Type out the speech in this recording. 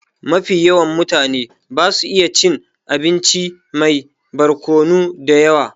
Mafi yawan mutane basu iya cin abinci mai barkonu da yawa